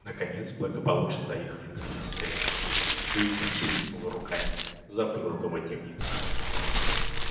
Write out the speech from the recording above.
наконец благополучно доехали до шоссе и тут джинни всплеснула руками забыла дома дневник